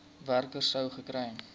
werker sou gekry